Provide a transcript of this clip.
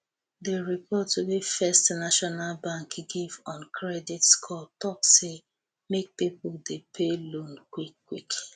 the report wey first national bank give on credit score talk say make people dey pay loan quick quick